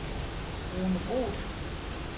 Rune Groth